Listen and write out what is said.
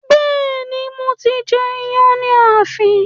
Bẹ́ẹ̀ ni, mo ti ń jẹ iyán ní ààfin